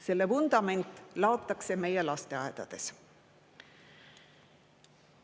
Selle vundament laotakse meie lasteaedades.